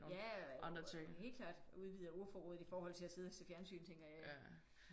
Ja helt klart og udvider ordforrådet i forhold til at sidde og se fjernsyn tænker jeg ja